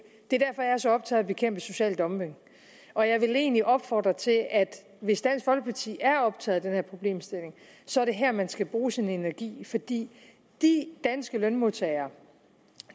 det er derfor jeg er så optaget bekæmpe social dumping og jeg vil egentlig opfordre til at hvis dansk folkeparti er optaget af den her problemstilling så er det her man skal bruge sin energi fordi de danske lønmodtagere